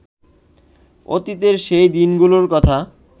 অতীতের সেই দিনগুলোর কথা